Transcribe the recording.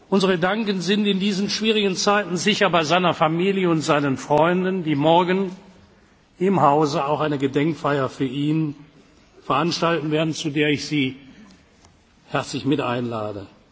bleiben. Unsere Gedanken sind in diesen schwierigen Zeiten sicher bei seiner Familie und seinen Freunden, die morgen im Hause auch eine Gedenkfeier für ihn veranstalten werden, zu der ich Sie herzlich